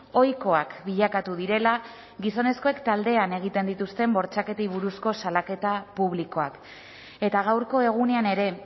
ohikoak bilakatu direla gizonezkoek taldean egiten dituzten bortxaketei buruzko salaketa publikoak eta gaurko egunean ere